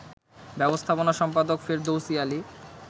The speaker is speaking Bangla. ব্যবস্থাপনা সম্পাদক ফেরদৌসী আলী